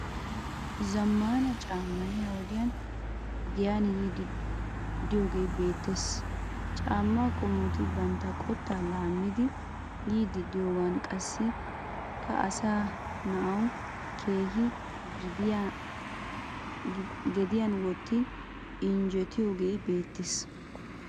Zamaana caamay ha wodiyan giyan yiidi deiyogee betees. Caama qommoti bantta qotta laamidi yiidi diyoga qassikka asa na"awu keehin gediyan wottin injjettiyoge bettees.